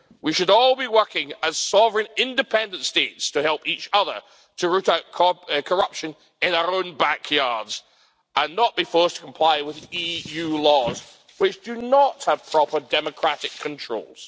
We should all be working as sovereign independent states to help each other to root out corruption in our own back yards and not be forced to comply with EU laws which do not have proper democratic controls.